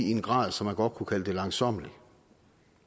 i en grad så man godt kunne kalde det langsommeligt